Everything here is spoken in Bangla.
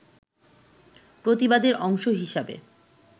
প্রতিবাদের অংশ হিসাবে